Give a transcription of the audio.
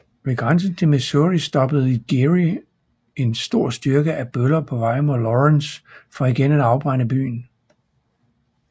Ved grænsen til Missouri stoppede Geary en stor styrke af bøller på vej mod Lawrence for igen at afbrænde byen